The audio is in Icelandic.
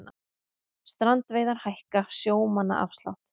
Strandveiðar hækka sjómannaafslátt